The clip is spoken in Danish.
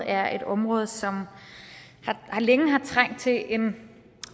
er et område som længe har trængt til en